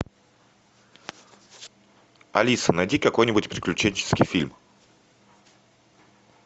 алиса найди какой нибудь приключенческий фильм